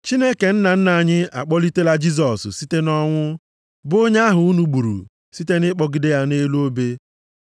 Chineke nna nna anyị a kpọlitela Jisọs site nʼọnwụ bụ onye ahụ unu gburu site nʼịkpọgide ya nʼelu osisi.